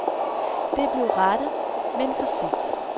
Det blev rettet, men for sent.